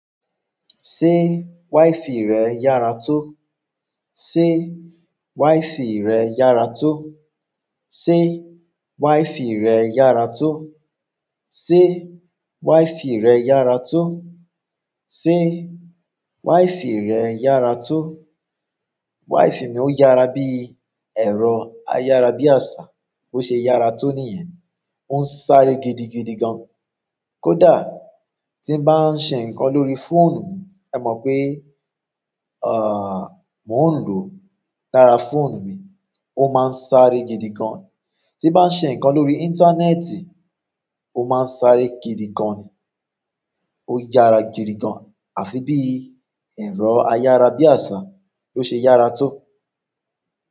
Ṣé wifi rẹ yára tó? Sé wifi rẹ yára tó? Sé wife rẹ yára tó? Sé wife rẹ yára tó? Sé wife rẹ yára tó? Wifi mi o yara bíi ero ayara bi asa, bo se yara to niyen. Ó ń sáré gidigidi gan. Kódà tí ń bá ń ṣe ǹkan lórí fóònù mi, ẹ mọ̀ pé, àh, mò ń lo o lára fóònù mi, ó máa ń sáré gidii agn. Tí n bá ń ṣe ǹkan lórí íńtánẹ́ẹ̀tì, ó máa ń sáré gidigan ni. Ó yára gidigan, àfi bíi ẹ̀rọ ayára bí àṣá tó ṣe yára tó.